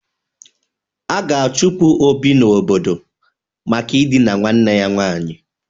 A ga-achụpụ Obi n'obodo maka idina nwanne ya nwaanyị.